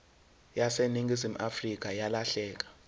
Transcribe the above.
yaseningizimu afrika yalahleka